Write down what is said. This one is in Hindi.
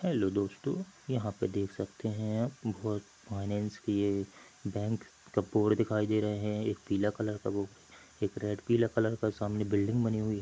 हैलो दोस्तों यहाँ पे देख सकते हैंआप फाइनैन्स की ये बैंक का बोर्ड दिखाई दे रहे हैं एक पीला कलर का बोर्ड एक रेड पीला कलर का सामने बिल्डिंग बनी हुई है।